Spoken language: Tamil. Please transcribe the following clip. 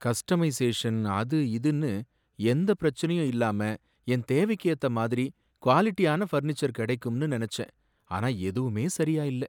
கஸ்டமைசேஷன் அது இதுனு எந்த பிரச்சனையும் இல்லாம என் தேவைக்கு ஏத்த மாதிரி குவாலிடியான ஃபர்னீச்சர் கிடைக்கும்னு நனைச்சேன். ஆனா எதுவுமே சரியா இல்லை.